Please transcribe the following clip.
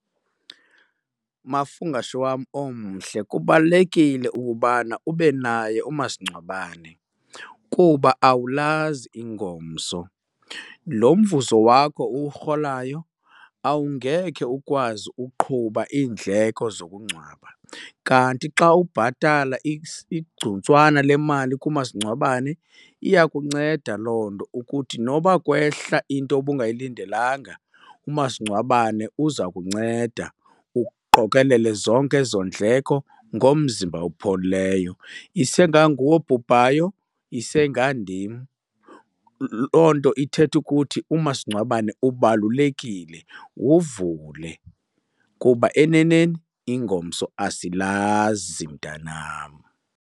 Mafungwashe wam omhle, kubalulekile ukubana ube naye umasingcwabane kuba awulazi ingomso. Lo mvuzo wakho uwurholayo awungeke ukwazi uqhuba iindleko zokungcwaba, kanti xa ubhatala igcuntswana lemali kumasingcwabane iyakunceda loo nto ukuthi noba kwehla into obungayilindelanga umasingcwabane uza kunceda uqokelele zonke ezo ndleko ngomzimba opholileyo. Isenganguwe obhubhayo, isengandim. Loo nto ithetha ukuthi umasingcwabane ubalulekile, wuvule kuba eneneni ingomso asilazi mntanam.